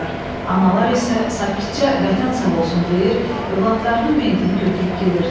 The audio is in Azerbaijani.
Analar isə sakitcə Vətən sağ olsun deyir, övladlarının meyitini götürüb gedirdilər.